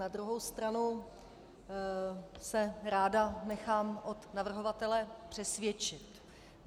Na druhou stranu se ráda nechám od navrhovatele přesvědčit.